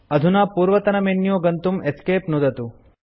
अधुना पूर्वतनमेन्यू गन्तुं Esc नुदतु